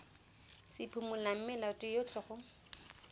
se phimolang melato yotlhe go